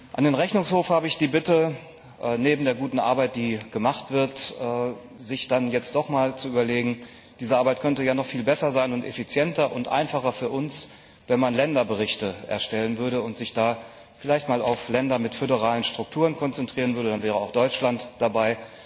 An den Rechnungshof habe ich die Bitte, neben der guten Arbeit, die gemacht wird, sich dann jetzt doch mal zu überlegen, dass diese Arbeit noch viel besser und effizienter sein könnte und einfacher für uns, wenn man Länderberichte erstellen würde und sich da vielleicht mal auf Länder mit föderalen Strukturen konzentrieren würde, dann wäre auch Deutschland dabei.